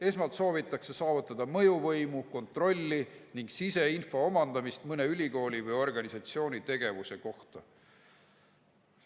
Esmalt soovitakse saavutada mõjuvõimu, kontrolli ning omandada siseinfot mõne ülikooli või organisatsiooni tegevuse kohta.